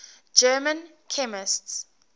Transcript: german chemists